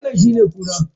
Wannan shine kura?